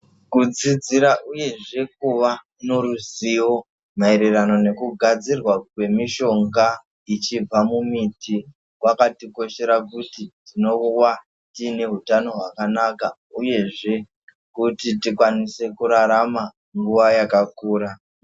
Kudzidzira uye kuva neruzivo maererano nekugadzirwa kwemishonga yechibva mumiti yakatikoshera tinowa tione hutano hwakanaka uyezve tikwanise kurarama nguwa yakakura.